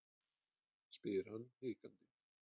spyr hann hikandi.